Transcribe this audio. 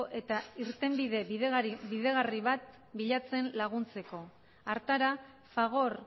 eta irtenbide bideragarri bat bilatzen laguntzeko hartara fagor